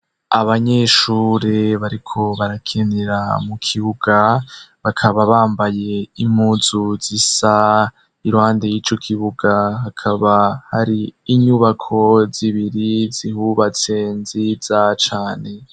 Abanyeshure bariko barakinira mu kibuga, bakaba bambaye impuzu zisa, iruhande y'ico kibuga hakaba hari inyubako zibiri zihubatse nziza cane.